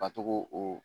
Ka to k'o o